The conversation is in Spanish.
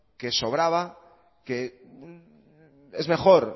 que sobraba que es mejor